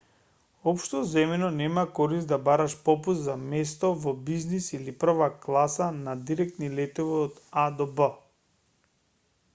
општо земено нема корист да бараш попуст за место во бизнис или прва класа на директни летови од а до б